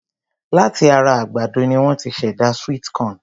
Láti ara àgbàdo ni won ti ṣ'èdá sweet corn.